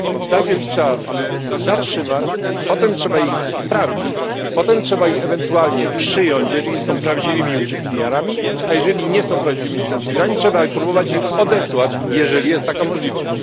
Najpierw ich trzeba zatrzymać, potem trzeba ich sprawdzić, potem trzeba ich ewentualnie przyjąć, jeżeli są prawdziwymi uciekinierami, a jeżeli nie są prawdziwymi uciekinierami, trzeba próbować ich odesłać, jeżeli jest taka możliwość.